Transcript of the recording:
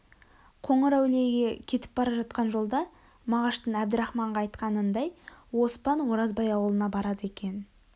қоңырәулиеге кетіп бара жатқан жолда мағаштың әбдірахманға айтқанындай оспан оразбай аулына барады екен